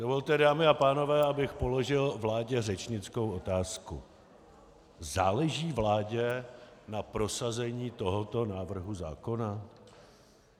Dovolte, dámy a pánové, abych položil vládě řečnickou otázku: Záleží vládě na prosazení tohoto návrhu zákona?